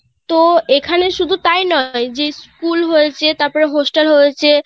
তো এখানে শুধু তাই নয় যে school হয়েছে তারপর hostel হয়েছে